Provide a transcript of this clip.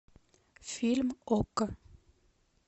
фильм окко